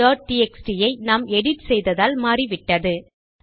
countடிஎக்ஸ்டி ஐ நாம் எடிட் செய்ததால் மாறிவிட்டது